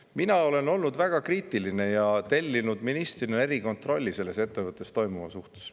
Mina olen olnud väga kriitiline ja tellinud ministrina erikontrolli selles ettevõttes toimuva suhtes.